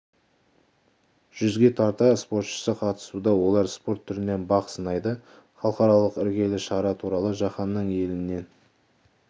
жүзге тарта спортшысы қатысуда олар спорт түрінен бақ сынайды халықаралық іргелі шара туралы жаһанның елінен